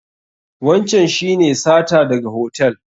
Wancan shi ne sata daga hotel?